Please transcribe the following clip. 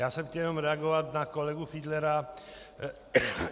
Já jsem chtěl jenom reagovat na kolegu Fiedlera.